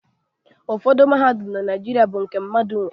Ụfọdụ mahadum na Naịjirịa bụ nke aka mkpa.